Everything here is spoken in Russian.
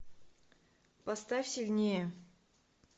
поставь сильнее